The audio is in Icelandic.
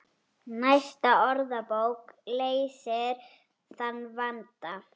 Næsta orðabók leysir þann vanda.